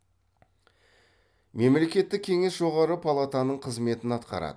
мемлекеттік кеңес жоғарғы палатаның қызметін атқарады